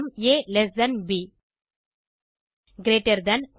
ஆ ப் கிரீட்டர் தன் உதா